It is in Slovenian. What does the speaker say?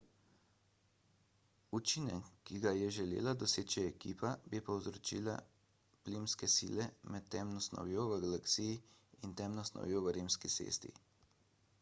učinek ki ga je želela doseči ekipa bi povzročile plimske sile med temno snovjo v galaksiji in temno snovjo v rimski cesti